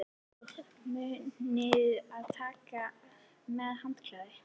Munið að taka með handklæði!